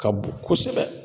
Ka bon kosɛbɛ